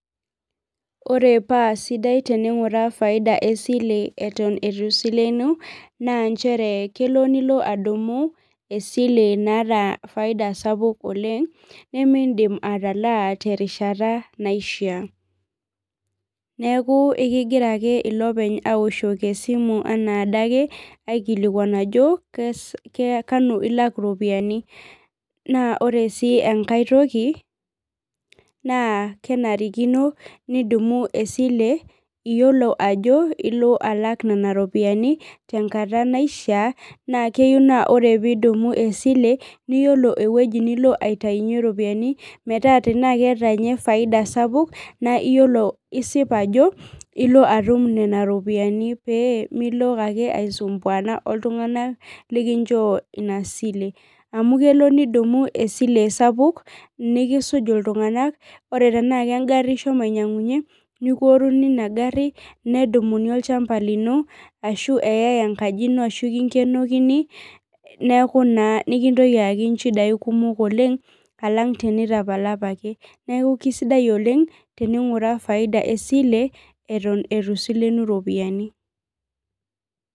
Ore paa sidai teninguraa faida esile eton eitu isilenu nnaa nchere kelo nilo adumu esile naata faida sapuk oleng nidim ataalaa terishata naishaa. neeku ekigira ake olopeny aoshoki esimu anaa adake, aikilikuan ajo kanu ilak iropiyiani, naa ore sii enkae toki, naa kenarikino nidumu esile iyiolo ajo ilo alaku Nena ropiyiani, tenkata naishaa, naa keyieu naa ore pee idumi esile, niyiolou ewueji nilo aitayunye ropiyiani metaa tenaa keeta ninye faida sapuk naa isip ajo ilo atum Nena ropiyiani. pee Milo ake aisumbuana oltunganak likinchoo Ina sile, amu kelo nidumu esile sapuk nikisuk iltunganak pee tenaa kegari oshomo ainyiangunye nikioruni Ina gari, nedumuni olchampa lino ashu eyae enkaji ino ashu kinkenokini, neeku naa mikintoki ayaki nchidai kumok oleng, alang' tenitapala apake neeku kisidai oleng, teninguraa faida esile eton eitu isilenu ropiyiani.